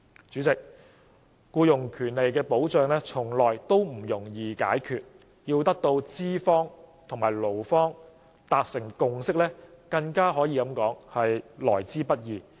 主席，僱傭保障從來都不容易解決，要得到資方和勞方達成共識更是來之不易。